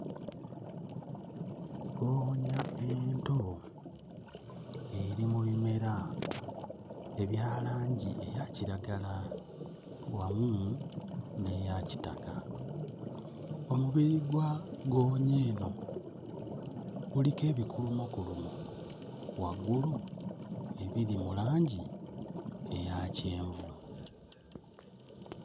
Ggoonya ento eri mu bimera ebya langi eya kiragala wamu n'eya kitaka. Omubiri gwa ggoonya eno guliko ebigulumogulumo waggulu ebiri mu langi eya kyenvu.